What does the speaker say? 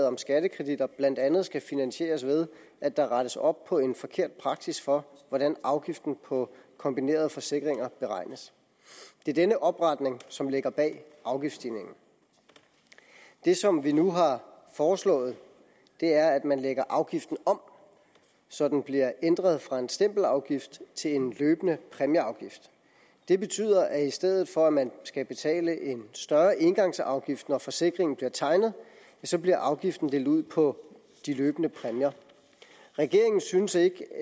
om skattekreditter blandt andet skal finansieres ved at der rettes op på en forkert praksis for hvordan afgiften på kombinerede forsikringer beregnes det er denne opretning som ligger bag afgiftsstigningen det som vi nu har foreslået er at man lægger afgiften om så den bliver ændret fra en stempelafgift til en løbende præmieafgift det betyder at i stedet for at man skal betale en større engangsafgift når forsikringen bliver tegnet så bliver afgiften delt ud på de løbende præmier regeringen synes ikke